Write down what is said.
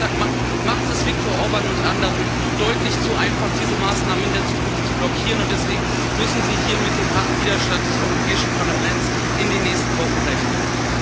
Ihr Vorschlag macht es Viktor Orbán und anderen deutlich zu einfach, diese Maßnahmen in der Zukunft zu blockieren, und deswegen müssen Sie hier mit dem harten Widerstand des Europäischen Parlaments in den nächsten Wochen rechnen.